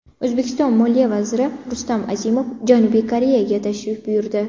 O‘zbekiston moliya vaziri Rustam Azimov Janubiy Koreyaga tashrif buyurdi.